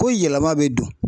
Ko yɛlɛma bɛ don.